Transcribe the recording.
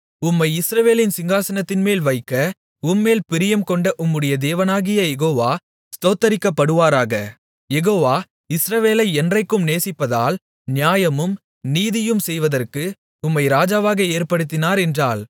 உம்மை இஸ்ரவேலின் சிங்காசனத்தின்மேல் வைக்க உம்மேல் பிரியம் கொண்ட உம்முடைய தேவனாகிய யெகோவா ஸ்தோத்திரிக்கப்படுவாராக யெகோவா இஸ்ரவேலை என்றைக்கும் நேசிப்பதால் நியாயமும் நீதியும் செய்வதற்கு உம்மை ராஜாவாக ஏற்படுத்தினார் என்றாள்